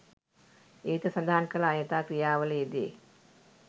ඉහත සඳහන් කළ අයථා ක්‍රියාවල යෙදේ.